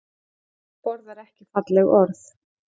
Fólk borðar ekki falleg orð